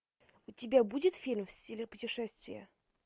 у тебя будет фильм в стиле путешествия